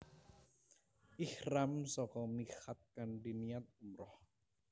Ihram saka miqat kanthi niat umrah